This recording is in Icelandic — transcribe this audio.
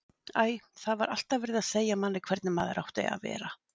Æ, það var alltaf verið að segja manni hvernig maður átti að vera.